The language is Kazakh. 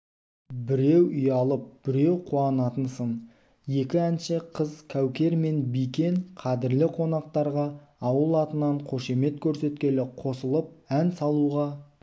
біреу ұялып біреу қуанатын сын екі әнші қыз кәукер мен бикен қадірлі қонақтарға ауыл атынан қошемет көрсеткелі қосылып ән салуға